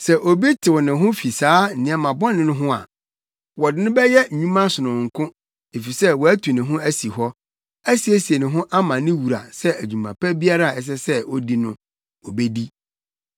Sɛ obi tew ne ho fi saa nneɛma bɔne no ho a, wɔde no bɛyɛ nnwuma sononko efisɛ watu ne ho asi hɔ, asiesie ne ho ama ne wura sɛ dwuma pa biara a ɛsɛ sɛ odi no, obedi.